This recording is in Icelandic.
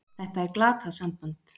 Þetta er glatað samband!